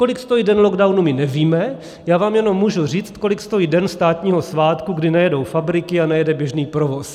Kolik stojí den lockdownu, my nevíme, já vám jenom můžu říct, kolik stojí den státního svátku, kdy nejedou fabriky a nejede běžný provoz.